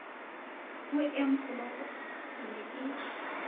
ho enfolopo ke ne ke